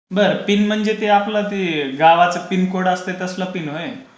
बरं. पिन म्हणजे. तो आपला तो जो गावाचा पिनकोड असतंय तसलं पिन व्हय.